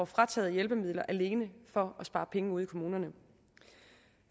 frataget hjælpemidler alene for at spare penge ude i kommunerne